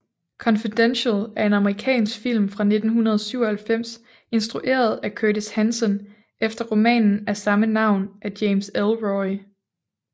Confidential er en amerikansk film fra 1997 instrueret af Curtis Hanson efter romanen af samme navn af James Ellroy